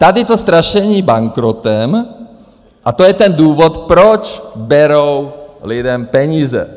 Tady to strašení bankrotem - a to je ten důvod, proč berou lidem peníze.